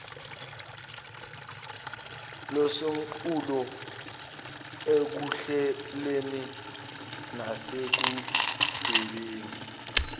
losomqulu ekuhleleni nasekudwebeni